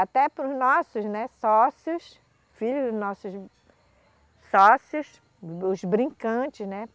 Até para os nossos, né, sócios, filhos nossos sócios, dos brincantes, né?